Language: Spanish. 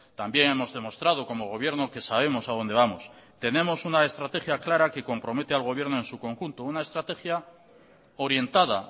también hemos demostrado como gobierno que sabemos a dónde vamos tenemos una estrategia clara que compromete al gobierno en su conjunto una estrategia orientada